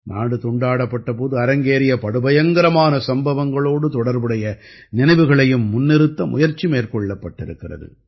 நாடு துண்டாடப்பட்ட போது அரங்கேறிய படுபயங்கரமான சம்பவங்களோடு தொடர்புடைய நினைவுகளையும் முன்னிறுத்த முயற்சி மேற்கொள்ளப்பட்டிருக்கிறது